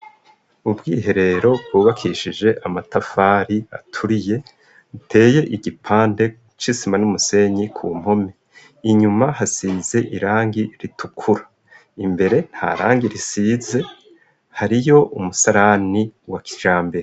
Ishure ryisumbe ryiza cane yubakije amatafari aturiye isakaje amabati meza cane maremare inkomi zaro isize amarangi y'umuhondo imbere habo ikibaho cirabura canditse ko amajambo y'indome.